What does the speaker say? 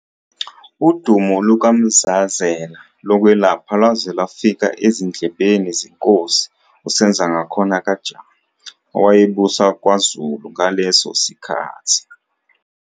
Udumo lukaMzazela lokwelapha lwaze lwafika ezindlebeni zenkosi uSenzangakhona kaJama owayebusa kwaZulu ngaleso sikhathi.